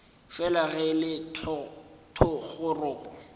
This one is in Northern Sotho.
fela ge e le thogorogo